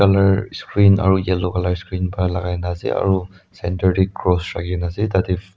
color screen aro yellow color screen kan lagai kina ase aro center de cross raki kina ase tate.